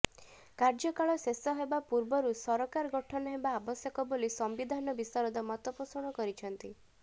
କାର୍ଯ୍ୟକାଳ ଶେଷ ହେବା ପୂର୍ବରୁ ସରକାର ଗଠନ ହେବା ଆବଶ୍ୟକ ବୋଲି ସମ୍ବିଧାନ ବିଶାରଦ ମତପୋଷଣ କରିଛନ୍ତି